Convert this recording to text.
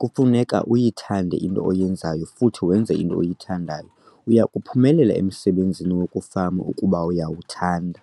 kufuneka uyithande into oyenzayo futhi wenze into oyithandayo - uya kuphumelela emsebenzini wokufama ukuba uyawuthanda!